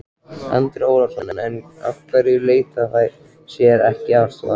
Andri Ólafsson: En af hverju leita þær sér ekki aðstoðar?